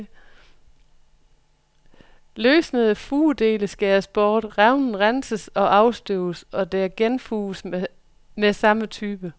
Løsnede fugedele skæres bort, revnen renses og afstøves, og der genfuges med samme type.